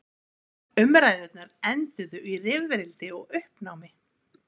Umræðurnar enduðu í rifrildi og uppnámi.